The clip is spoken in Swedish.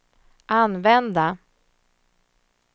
använda